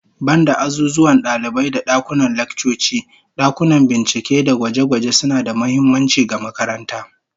Banda azuzuwan dalibai da dakunan laccoci, dakunan bincike da gwaje-gwaje suna da muhimmanci ga makaranta